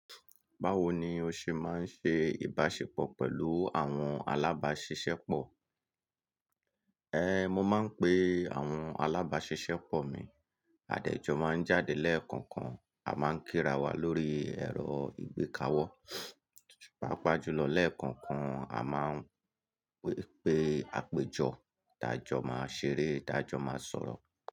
Báwo ni o ṣe máa ń ṣe ìbáṣepọ̀ pẹ̀lú àwọn alábáṣiṣẹ́pọ̀? Mo máa ń pe àwọn alábáṣiṣẹ́pọ̀ mi. Àdẹjọ máa ń jáde lẹ́ẹ̀kọ̀ọ̀kan, a máa ń kírawa lórí ẹ̀rọ ìgbékawo. Páapa jùlọ lẹ́ẹ̀kọ̀ọ̀kan a máa ń pe àpéjọ, ti ájọ máa ṣeré, ti ájọ máa sọ̀rọ̀.